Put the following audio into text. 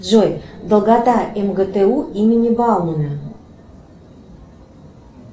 джой долгота мгту имени баумана